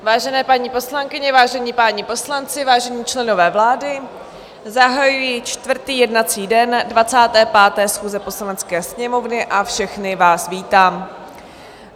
Vážené paní poslankyně, vážení páni poslanci, vážení členové vlády, zahajuji čtvrtý jednací den 25. schůze Poslanecké sněmovny a všechny vás vítám.